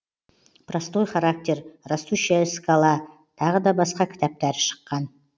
простой характер растущая скала тағы да басқа кітаптары шыққан